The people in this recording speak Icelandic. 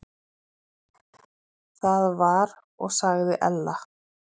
Það var og sagði Ella.